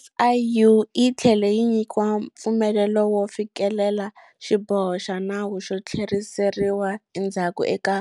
SIU yi tlhele yi nyikiwa mpfumelelo wo fikelela xiboho xa nawu xo tlheriseriwa endzhaku eka